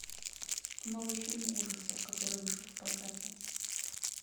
новый фильм ужасов который вышел в прокате